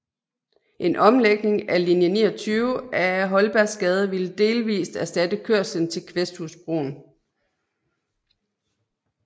En omlægning af linje 29 ad Holbergsgade ville delvist erstatte kørslen til Kvæsthusbroen